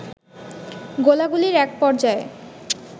গোলাগুলির একপর্যায়ে